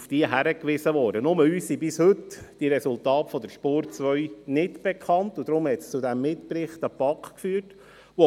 Allerdings sind uns bis heute die Resultate dieser «Spur 2» nicht bekannt, was ja dann zum Mitbericht an die BaK geführt hat.